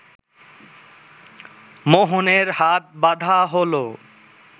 মোহনের হাত বাঁধা হলো